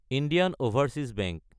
Indian overseas bank